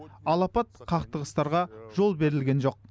алапат қақтығыстарға жол берілген жоқ